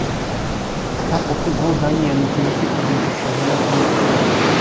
тап осы гол данияның келесі кезеңге шығуына көмектесті